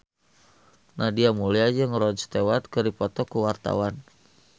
Nadia Mulya jeung Rod Stewart keur dipoto ku wartawan